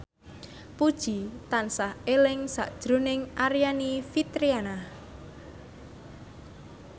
Puji tansah eling sakjroning Aryani Fitriana